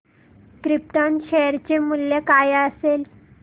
krypton share चे मूल्य काय असेल